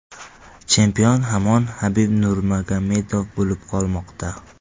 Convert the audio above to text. Chempion hamon Habib Nurmagomedov bo‘lib qolmoqda.